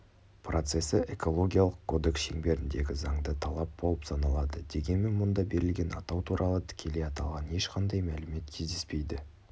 процесі экологиялық кодекс шеңберіндегі заңды талап болып саналады дегенмен мұнда берілген атау туралы тікелей аталған ешқандай мәлімет кездеспейді